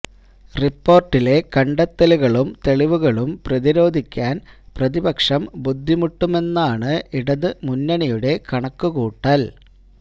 റിപ്പോര്ട്ടിലെ കണ്ടെത്തലുകളും തെളിവുകളും പ്രതിരോധിക്കാന് പ്രതിപക്ഷം ബുദ്ധിമുട്ടുമെന്നാണ് ഇടത് മുന്നണിയുടെ കണക്കുകൂട്ടല്